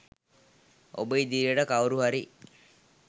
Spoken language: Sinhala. ඔබ ඉදිරියට කවුරු හරි